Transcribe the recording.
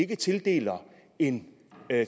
tildele en